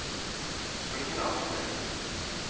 Følgende avsnitt